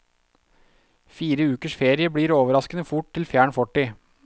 Fire ukers ferie blir overraskende fort til fjern fortid.